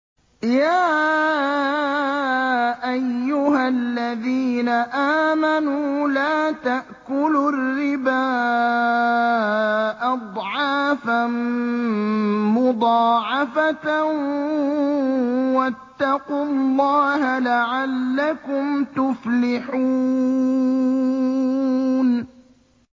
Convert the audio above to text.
يَا أَيُّهَا الَّذِينَ آمَنُوا لَا تَأْكُلُوا الرِّبَا أَضْعَافًا مُّضَاعَفَةً ۖ وَاتَّقُوا اللَّهَ لَعَلَّكُمْ تُفْلِحُونَ